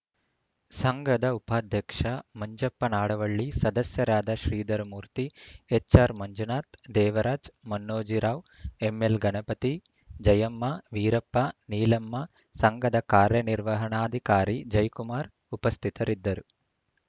ಸಂಘದ ಉಪಾಧ್ಯಕ್ಷ ಮಂಜಪ್ಪ ನಾಡವಳ್ಳಿ ಸದಸ್ಯರಾದ ಶ್ರೀಧರಮೂರ್ತಿ ಎಚ್‌ಆರ್‌ ಮಂಜುನಾಥ್‌ ದೇವರಾಜ್‌ ಮನ್ನೋಜಿರಾವ್‌ ಎಮ್‌ಎಲ್‌ ಗಣಪತಿ ಜಯಮ್ಮವೀರಪ್ಪ ನೀಲಮ್ಮ ಸಂಘದ ಕಾರ್ಯನಿರ್ವಹಣಾಧಿಕಾರಿ ಜೈಕುಮಾರ್‌ ಉಪಸ್ಥಿತರಿದ್ದರು